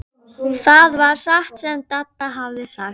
Hafði ekki hugmynd um hverjir voru Íslandsmeistarar í hans flokki.